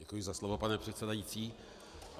Děkuji za slovo, pane předsedající.